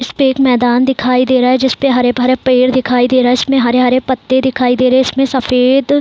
इसपे एक मैदान दिखाई दे रहा है जिस पे हरे भरे पेड़ दिखाई दे रहा है इसमें हरे-हरे पत्ते दिखाई दे रहे इसमें सफेद --